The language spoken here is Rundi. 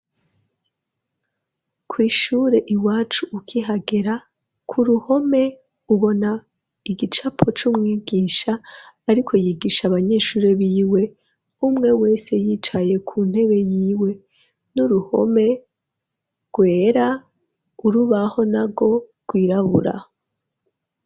Kw'ishure iwacu ukihagera ku ruhome ubona igicapo c'umwigisha ariko yigisha abanyeshuri biwe umwe wese yicaye ku ntebe yiwe n'uruhome rwera urubaho nago rwirabura